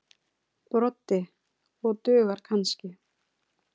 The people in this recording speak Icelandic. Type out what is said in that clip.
Broddi: Og dugar kannski.